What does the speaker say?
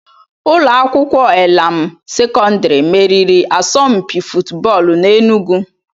Ụlọ akwụkwọ Elam Sekọndiri meriri asọmpi fụtbọọlu n'Enugwu.